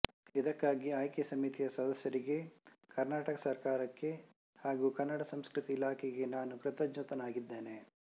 ಇದಕ್ಕಾಗಿ ಆಯ್ಕೆ ಸಮಿತಿಯ ಸದಸ್ಯರಿಗೆ ಕರ್ನಾಟಕ ಸರಕಾರಕ್ಕೆ ಹಾಗೂ ಕನ್ನಡ ಸಂಸ್ಕೃತಿ ಇಲಾಖೆಗೆ ನಾನು ಕೃತಜ್ಞನಾಗಿದ್ದೇನೆ